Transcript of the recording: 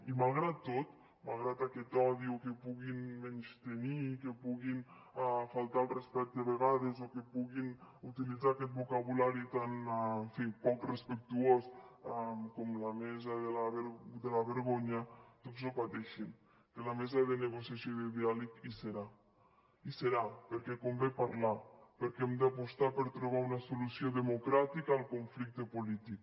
i malgrat tot malgrat aquest odi o que puguin menystenir que puguin faltar al respecte a vegades o que puguin utilitzar aquest vocabulari tan poc respectuós com la mesa de la vergonya doncs no pateixin que la mesa de negociació i de diàleg hi serà hi serà perquè convé parlar perquè hem d’apostar per trobar una solució democràtica al conflicte polític